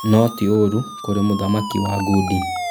No ti ũru kũrĩ mũthaki wa ngundi